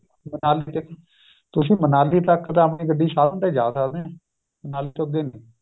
ਤੁਸੀਂ ਮਨਾਲੀ ਤੱਕ ਆਪਣੀ ਗੱਡੀ ਤੇ ਜਾਂ ਸਕਦੇ ਹੋ ਮਨਾਲੀ ਤੋ ਅੱਗੇ ਨਹੀਂ